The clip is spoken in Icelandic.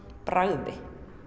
bragði